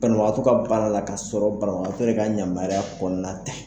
Banabagatɔ ka baara la ka sɔrɔ banagatɔ yɛrɛ ka yamaruya kɔnɔna tɛ.